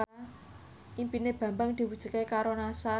impine Bambang diwujudke karo Nassar